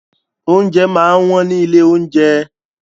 Oúnjẹ máa ń wọ́n ní ilé-oúnjẹ.